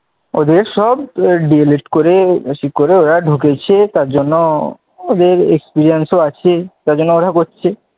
ওদের সব DA list করে ঢুকিয়েছে তার জন্য ওদের experience ও আছে ও জন্য আরো করছে,